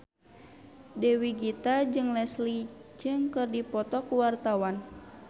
Dewi Gita jeung Leslie Cheung keur dipoto ku wartawan